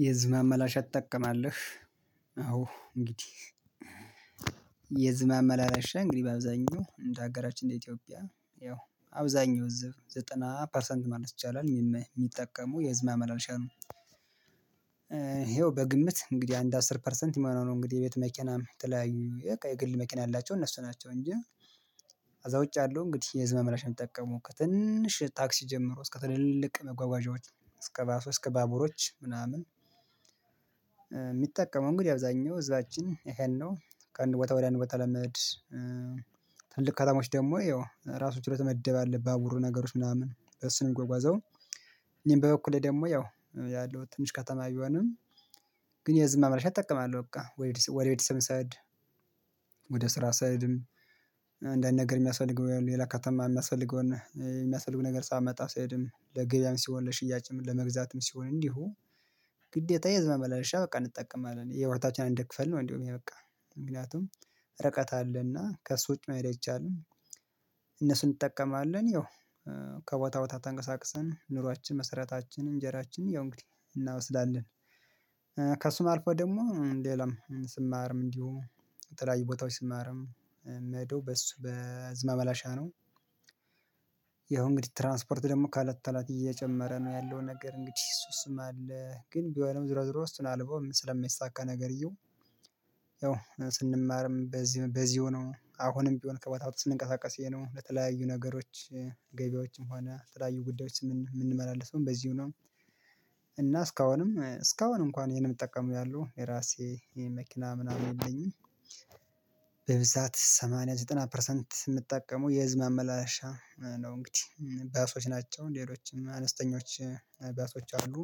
የህዝብ ማመላለሻ ትጠቀማለህ? አዎ እንግዲህ የህዝብ ማመላለሻ እንግዲህ በአብዛኛው እንደ አገራችን ኢትዮጵያ ያው አብዛኛው ህዝብ ዘጠና ፐርሰንት ማለት ይቻላል የሚጠቀሙ የህዝብ አመላሻ ነው። ይኸው በግምት እንግዲህ አንድ አስር ፐርሰንት የማነው ነው እንግዲህ የቤት መኪናም የተለያዩ ግል መኪና ያላቸው እነሱ ናቸው እንጂ። ከዛ ውጭ ያለው እንግዲህ የህዝብ ማመላለሻ ነው የሚጠቀሙት ትንሽ ታክሲ ጀምሮ እስከ ትልልቅ መጓጓዣዎች እስከ ባሶ እስከ ባቡሮች ምናምን። የሚጠቀሙ እንግዲህ አብዛኛው እዛችን ይሄን ነው ከአንድ ቦታ ወዲያ አንድ ቦታ ለመድ ትልቅ ከተሞች ደግሞ ይኸው ራሱን ችሎ የተመደበ አለ ባቡሩ ነገሮች ምናምን በእሱ ነው የሚጎጓዘው። እኔም በበኩሌ ደግሞ ያው ያለው ትንሽ ከተማ ብሆንም ግን የህዝብ ማመላለሻ እጠቀማለሁ በቃ ወደ ቤትም ስሄድ። ወደ ስራ እሰድም። አንዳንድ ነገር የሚያስፈልገው ሌላ ከተማ የሚያስፈልገውን የሚያስፈልገውን ነገር ሳመጣ እሰድም ለግብያም ሲሆን ለሽያጭም ለመግዛትም ሲሆን እንዲሁ። ግዴታ የህዝብ ማመላለሻ በቃ እንጠቀማለን የህወሃታችን እንደ ክፍል ነው እንደውም ይሄ በቃ ምክንያቱም ርቀት አለና ከእሱ ውጪ ማየት አይቻልም። እነሱን እንጠቀማለን ያው ከቦታ ቦታ ተንቀሳቅሰን ኑሯችን መሰረታችን እንጀራችን ያው እንግዲህ እናወስዳለን። ከሱም አልፎ ደግሞ ሌላም ስማርም እንዲሁ የተለያዩ ቦታዎች ስማርም የምሄዶ በሱ በህዝብ ማመላለሻ ነው። ያው እንግዲህ ትራንስፖርት ደግሞ ካለተላት እየጨመረ ነው ያለው ነገር እንግዲህ እሱም አለ ግን ቢሆንም ዝሮ ዝሮ እሱን አልባውም ስለሚሳካ ነገርየው። ያው ስንማርም በዚህ በዚህ ሆኖ አሁንም ቢሆን ከቦታ ቦታ ስንቀሳቀስ ይሄ ነው ለተለዩ ነገሮች ገበያዎችም ሆነ ተለያዩ ጉዳዮች የምንመላለሰውም በዚው ነው። እና እስካሁንም እስካሁን እንኳን ይሄንን የምጠቀመው ያሉ የራሴ ይሄ መኪና ምናምን የለኝም። በብዛት ሰማንያ ዘጠና ፐርሰንት የምትጠቀመው የህዝብ ማመላለሻ ነው እንግዲህ ባሶች ናቸው ሌሎችም አነስተኞች ባሶች አሉ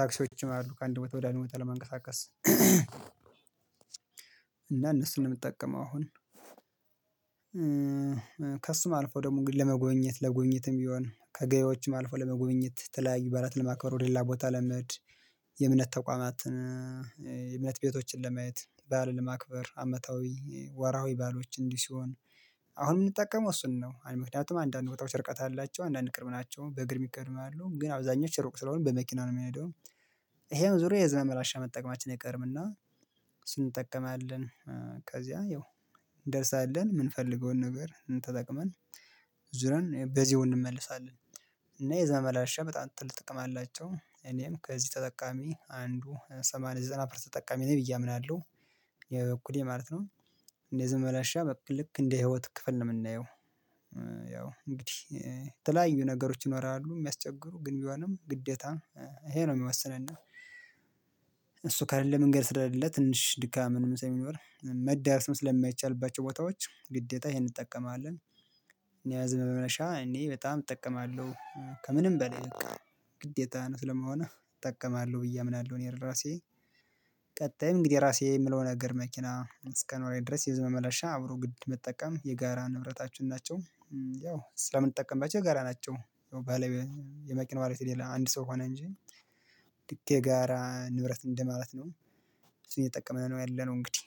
ታክሲዎችም አሉ ከአንድ ቦታ ወደ አንድ ቦታ ለመንቀሳቀስ። እና እነሱን ነው የምጠቀመው አሁን። ከእሱም አልፎ ደግሞ ለመጎብኘት ለጎብኘትም ቢሆን ከገያዎችም አልፎ ለመጎብኘት ተለያዩ ባዓላት ለማክበር ወደ ሌላ ቦታ ለመሄድ። የእምነት ተቋማትን የእምነት ቤቶችን ለማየት ባዓልን ለማክበር አመታዊ ወራዊ ባዓሎችን እንዲህ ሲሆን። አሁን የምንጠቀመው እሱን ነው አይደል ምክንያቱም አንዳንድ ቦታዎች ርቀት አላቸው አንዳንድ ቅርብ ናቸው በእግር ይከድማሉ ግን አብዛኞቹ ሩቅ ስለሆነ በመኪና ነው የሚሄደው። ይሄ ዙሪያ የህዝብ ማመላለሻ መጠቀማችን አይቀርም እና ስንጠቀም አለን። ከዚያ ያው እንደርሳለን የምንፈልገውን ነገር ተጠቅመን ዙሪያን በዚው እንመልሳለን። እና የህዝብ ማመላለሻ በጣም ትልቅ ጥቅም አላቸው እኔም ከዚህ ተጠቃሚ አንዱ ሰማንያ ዘጠና ፐርሰንት ተጠቃሚ ነኝ ብዬ አምናለሁ። የበኩሌ ማለት ነው። የህዝብ ማመላለሻ ልክ እንደ ህይወት ክፍል ነው የምናየው። ያው እንግዲህ የተለያዩ ነገሮች ይኖራሉ የሚያስቸግሩ ግን ቢሆንም ግዴታ ይሄ ነው የሚወስነና። እሱ ከሌለ መንገድ ስለሌለ ትንሽ ድካም ምንም ሰው የሚኖር መዳረስም ስለማይቻልባቸው ቦታዎች ግዴታ ይሄን እንጠቀማለን። እኔ የህዝብ ማመላለሻ እኔ በጣም እጠቀማለሁ ከምንም በላይ በቃ ግዴታ ነው ስለማሆነ እጠቀማለሁ ብዬ አምናለሁ እኔ ራሴ። ቀጣይ እንግዲህ ራሴ የምለው ነገር መኪና እስከኖረኝ ድረስ የብዙ ማመላለሻ አብሮ ግድ መጠቀም የጋራ ንብረታችን ናቸው። ያው ስለምንጠቀምባቸው ጋራ ናቸው ያው ባለ የመኪና ባል ቤት የሌለ አንድ ሰው ሆነ እንጂ ድኬ ጋራ ንብረት እንደማለት ነው። እሱን እየጠቀመን ነው ያለነው እንግዲህ